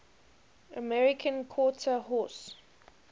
american quarter horse